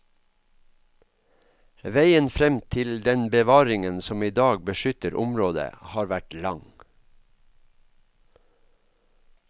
Veien frem til den bevaringen som i dag beskytter området, har vært lang.